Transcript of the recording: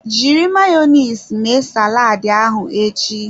Jiri Mayonezi mee saladi ahụ echi.